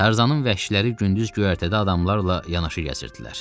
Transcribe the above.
Tarzanın vəhşiləri gündüz göyərtədə adamlarla yanaşı gəzirdilər.